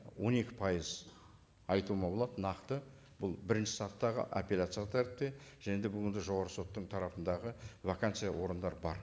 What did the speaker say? он екі пайыз айтуыма болады нақты бұл бірінші сатыдағы аппеляциялық тәртіпте және де бұл енді жоғарғы соттың тарапындағы вакансия орындар бар